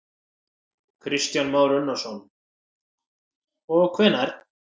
Kristján Már Unnarsson: Og hvenær?